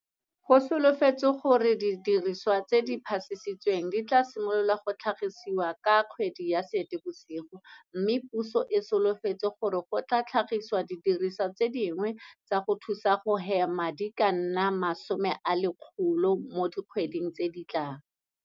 Go solofetswe gore didiriswa tse di phasisitsweng di tla simolola go tlhagisiwa ka kgwedi ya Seetebosigo mme puso e solofetse gore go tla tlhagisiwa didirisiwa tse dingwe tsa go thusa go hema di ka nna 1000 mo dikgweding tse di tlang.